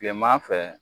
Kilema fɛ